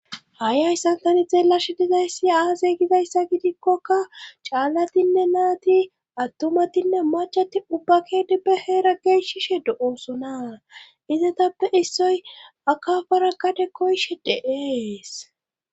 Ha'i hayssan tani xeellashe dizayssi aazey gizayssa gidikkoka caallatinne naati attumatinne macati ubbakedipbe heera geeshishe do'oosona izatappe issoy akafara gade koyshe de'ees